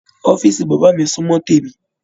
Ọ̀fiísí bàbá mi sunmọ témi.